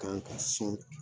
Kan ka sɔn.